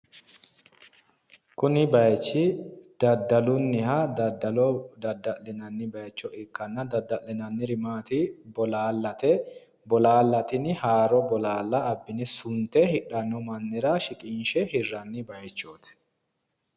Kuni bayichi daddalunniha daddalo dadda'linanni bayicho ikkanna dadda'linanniri maati bolaallate. Bolaalla tini haaro bolaalla abbine sunte hidhanno mannira shiqinshe hirranni bayichooti.